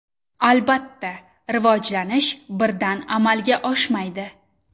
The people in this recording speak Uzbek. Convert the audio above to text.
Albatta, rivojlanish birdan amalga oshmaydi.